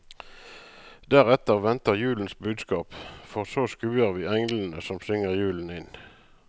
Deretter venter julens budskap, for så skuer vi englene som synger julen inn.